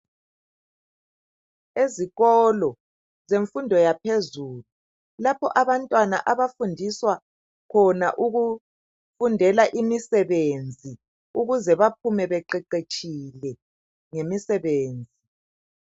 Ezikolo zemfundo yaphezulu lapho abantwana abafundiswa khona ukufundela imisebenzi ukuze baphume beqeqetshile ngemisebenzi